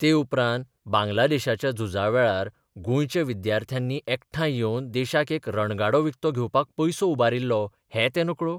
ते उपरांत बांगला देशाच्या झुजावेळार गोंयच्या विद्यार्थ्यांनी एकठांय येवन देशाक एक रणगाडो विकतो घेवपाक पयसो उबारिल्लो हें ते नकळो?